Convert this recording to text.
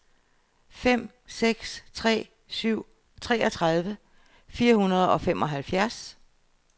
fem seks tre syv treogtredive fire hundrede og femoghalvfems